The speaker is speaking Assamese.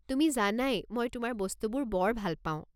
তুমি জানাই মই তোমাৰ বস্তুবোৰ বৰ ভাল পাওঁ।